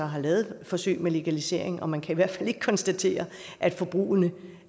har lavet forsøg med legalisering og man kan i hvert fald ikke konstatere at forbruget